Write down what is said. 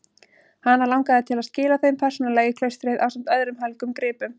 Hana langaði til að skila þeim persónulega í klaustrið ásamt öðrum helgum gripum.